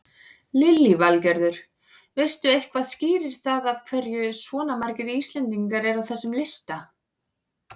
Lillý Valgerður: Veistu eitthvað skýrir það af hverju svona margir Íslendingar eru á þessum lista?